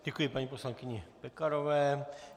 Děkuji paní poslankyni Pekarové.